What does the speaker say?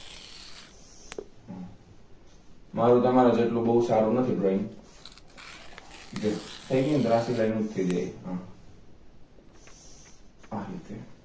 મારું તમારાં જેટલું બવ સારુ નથી drawing જો થઈ ગઈ ને ત્રાસી લાઈન જ થઇ જાય આમ આ રીતે